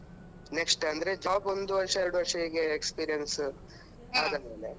next ಅಂದ್ರೆ job ಒಂದು ವರ್ಷ ಎರಡು ವರ್ಷ ಹೀಗೆ experience ಆದಮೇಲೆ.